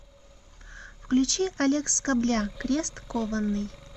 включи олег скобля крест кованный